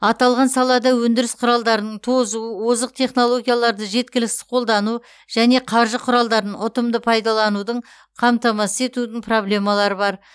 аталған салада өндіріс құралдарының тозу озық технологияларды жеткіліксіз қолдану және қаржы құралдарын ұтымды пайдаланудың қамтамасыз ету проблемалары бар